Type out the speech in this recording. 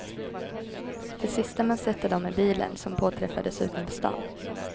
Det sista man sett av dem är bilen, som påträffades utanför staden.